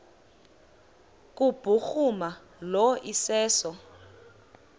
kubhuruma lo iseso